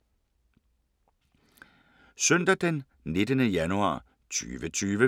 Søndag d. 19. januar 2020